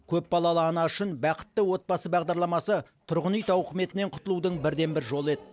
көпбалалы ана үшін бақытты отбасы бағдарламасы тұрғын үй тауқыметінен құтылудың бірден бір жолы еді